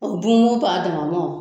Dumuni t'a dama mɔ